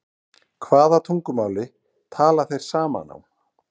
Hvaða tungumáli tala þeir saman á?